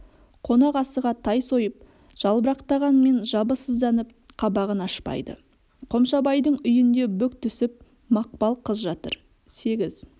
қонақасыға тай сойып жалбырақтағанмен жабы сызданып қабағын ашпайды қомшабайдың үйінде бүк түсіп мақпал қыз жатыр сегіз